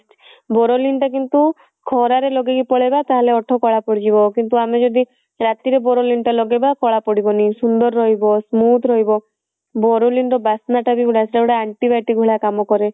boroline ଟା କିନ୍ତୁ ଖରାରେ ଲଗେଇକି ପଳେଇବା ତାହେଲେ ଓଠ କଳା ପଡିଯିବ କିନ୍ତୁ ଆମେ ଯଦି ରାତିରେ boroline ଟା ଲଗେଇବା କଳା ପଡିବନି ସୁନ୍ଦର ରହିବ smooth ରହିବ boroline ର ବାସ୍ନା ଟା ବି ବଢିଆ ସେଗୁଡା anti biotic ଭଳିଆ କାମ କରେ